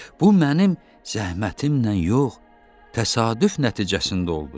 Bu mənim zəhmətimlə yox, təsadüf nəticəsində oldu.